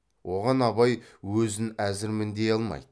оған абай өзін әзірмін дей алмайды